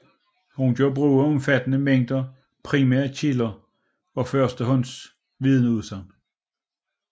Hun gør brug af en omfattende mængde primære kilder og første hånds vidneudsagn